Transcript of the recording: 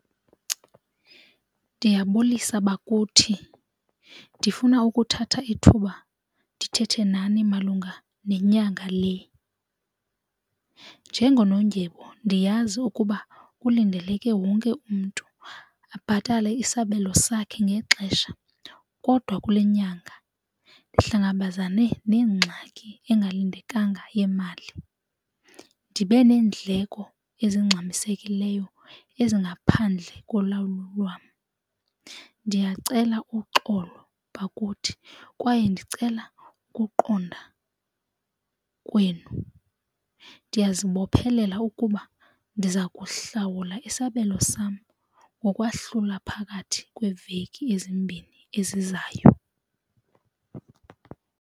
Ndiyabulisa bakuthi ndifuna ukuthatha ithuba ndithethe nani malunga nenyanga le. Njengonondyebo ndiyazi ukuba kulindeleke wonke umntu abhatale isabelo sakhe ngexesha kodwa kule nyanga ndihlangabezane neengxaki engalindelekanga yemali. Ndibe neendleko ezingxamisekileyo ezingaphandle kolawulo lwam. Ndiyacela uxolo bakuthi kwaye ndicela ukuqonda kwenu ndiyazibophelela ukuba ndiza kuhlawula isabelo sam ngokwahlula phakathi kweeveki ezimbini ezizayo.